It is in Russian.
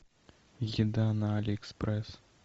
еда на алиэкспресс